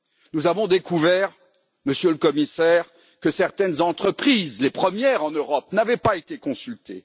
Nous avons découvert, Monsieur le Commissaire, que certaines entreprises les premières en Europe n'avaient pas été consultées.